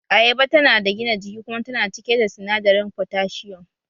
Ayaba tana da gina jiki kuma tana cike da sinadarin fotashiyum